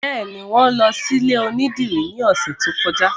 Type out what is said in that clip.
Bẹ́ẹ̀ni, wọn lọ sí ilé onídìrí ní ọ̀sẹ̀ tó kọjá